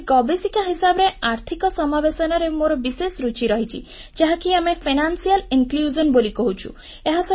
ଜଣେ ଗବେଷିକା ହିସାବରେ ଆର୍ଥିକ ସମାବେଶନରେ ମୋର ବିଶେଷ ରୁଚି ରହିଛି ଯାହାକୁ ଆମେ ଆର୍ଥିକ ସମ୍ପୃକ୍ତିକରଣ ଫାଇନାନ୍ସିଆଲ୍ ଇନକ୍ଲୁଜନ ବୋଲି କହୁଛୁ